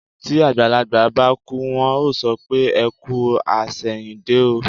Tí àgbàlagbà bá kú, wọ́n á sọ pé "ẹ kú àṣẹ̀yìndé o".